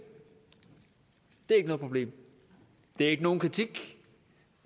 det er ikke noget problem det er ikke nogen kritik